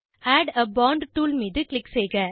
add a font tool மீது click செய்க